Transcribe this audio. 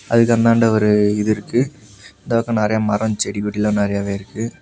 அதுக்கந்தாண்ட ஒரு இது இருக்கு இந்த பக்கம் நெறைய மரம் செடி கொடில்லாம் நெறையவே இருக்கு.